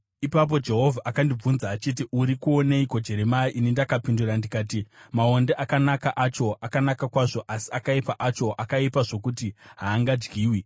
Ipapo Jehovha akandibvunza achiti, “Uri kuoneiko Jeremia?” Ini ndakapindura ndikati, “Maonde. Akanaka acho, akanaka kwazvo, asi akaipa acho akaipa zvokuti haangadyiwi.”